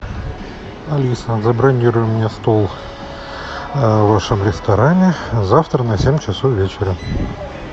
алиса забронируй мне стол в вашем ресторане завтра на семь часов вечера